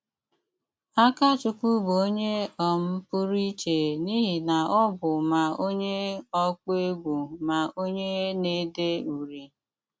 Ákachụ́kwú bụ́ onye um pú́rụ íché n’íhí ná ọ́ bụ́ má onye ọkpụ́ égwú má onye ná-éde úri.